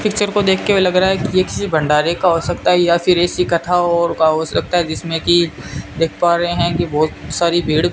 picture को देखकर लग रहा है कि ये किसी भंडारे का हो सकता है या फिर ऐसी कथा और का हो सकता है जिसमें की देख पा रहे हैं की बहोत सारी भीड़ --